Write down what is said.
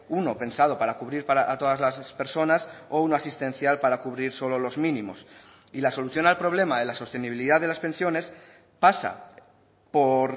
uno pensado para cubrir a todas las personas o uno asistencial para cubrir solo los mínimos y la solución al problema de la sostenibilidad de las pensiones pasa por